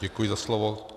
Děkuji za slovo.